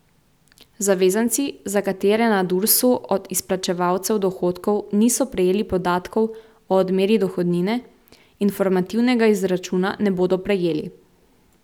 Zavezanci, za katere na Dursu od izplačevalcev dohodkov niso prejeli podatkov o odmeri dohodnine, informativnega izračuna ne bodo prejeli.